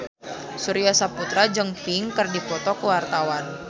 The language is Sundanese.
Surya Saputra jeung Pink keur dipoto ku wartawan